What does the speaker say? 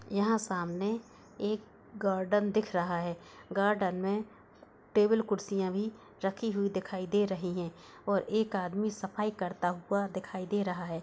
यहां सामने एक गार्डन दिख रहा है गार्डन में टेबुल कुर्सियां भी रखी हुई दिखाई दे रही है और एक आदमी सफाई करता हुआ दिखाई दे रहा है।